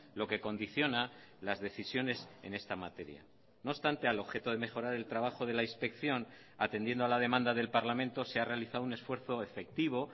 lo que condiciona las decisiones en esta materia no obstante al objeto de mejorar el trabajo de la inspección atendiendo a la demanda del parlamento se ha realizado un esfuerzo efectivo